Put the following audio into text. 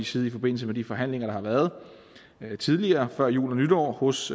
side i forbindelse med de forhandlinger der har været tidligere før jul og nytår hos